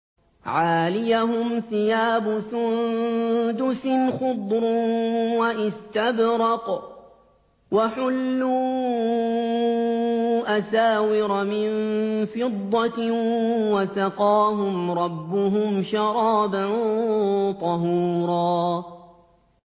عَالِيَهُمْ ثِيَابُ سُندُسٍ خُضْرٌ وَإِسْتَبْرَقٌ ۖ وَحُلُّوا أَسَاوِرَ مِن فِضَّةٍ وَسَقَاهُمْ رَبُّهُمْ شَرَابًا طَهُورًا